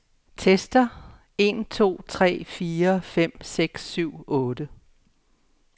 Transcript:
Tester en to tre fire fem seks syv otte.